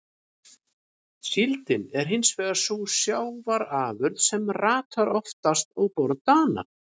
Síldin er hins vegar sú sjávarafurð sem ratar oftast á borð Dana.